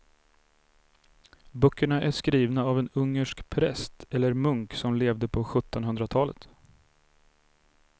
Böckerna är skrivna av en ungersk präst eller munk som levde på sjuttonhundratalet.